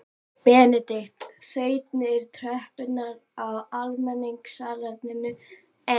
Benedikt þaut niður tröppurnar á almenningssalerninu en